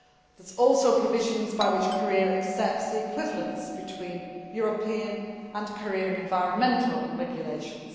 There are also provisions by which Korea accepts the equivalence between European and Korean environmental regulations.